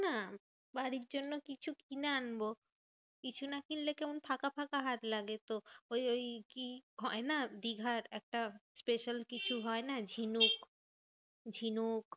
না বাড়ির জন্য কিছু কিনে আনবো। কিছু না কিনলে কেমন ফাঁকা ফাঁকা হাত লাগে তো। ওই ওই কি হয় না দিঘার একটা special কিছু হয় না? ঝিনুক ঝিনুক,